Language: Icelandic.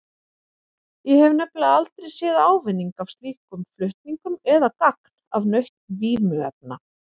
Ég hef nefnilega aldrei séð ávinning af slíkum flutningum eða gagn af nautn vímuefna.